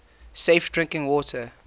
safe drinking water